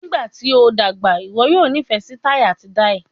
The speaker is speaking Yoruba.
Nigbati o dagba, iwọ yoo nifẹ si tai ati dai?